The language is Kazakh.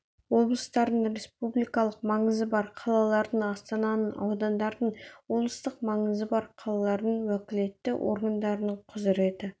облыстардың республикалық маңызы бар қалалардың астананың аудандардың облыстық маңызы бар қалалардың уәкілетті органдарының құзыреті